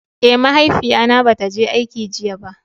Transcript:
Eh, mahaifiya na bata je aiki jiya ba.